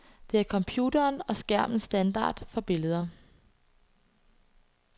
Det er computerens og skærmens standard for billeder.